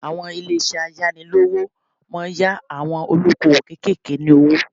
Àwọn ilé isẹ́ ayánilówó máa yá àwọn olóko òwò kékèké ní owó